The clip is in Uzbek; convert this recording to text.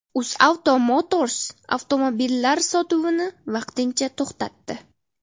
UzAuto Motors avtomobillar sotuvini vaqtincha to‘xtatdi.